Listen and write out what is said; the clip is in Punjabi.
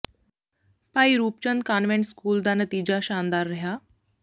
ਭਾਈ ਰੂਪ ਚੰਦ ਕਾਨਵੈਂਟ ਸਕੂਲ ਦਾ ਨਤੀਜਾ ਸ਼ਾਨਦਾਰ ਰਿਹਾ